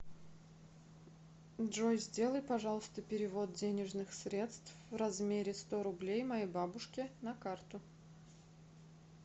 джой сделай пожалуйста перевод денежных средств в размере сто рублей моей бабушке на карту